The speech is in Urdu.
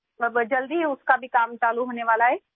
اب وہ کام بھی جلد شروع ہونے والا ہے